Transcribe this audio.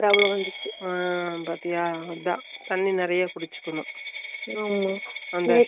மாத்திர வாங்கணும் தேவையா இது வராதே சம்பளம் இரநூத்தி அம்புருவா தா ஒரு வாரம்